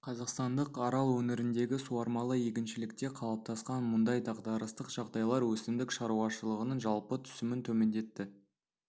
қазақстандық арал өңіріндегі суармалы егіншілікте қалыптасқан мұндай дағдарыстық жағдайлар өсімдік шаруашылығының жалпы түсімін төмендетті